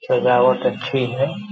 सजावट अच्छी है |